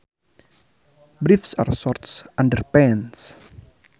Briefs are short underpants